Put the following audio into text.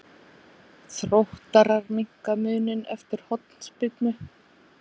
Þróttarar minnka muninn eftir hornspyrnu.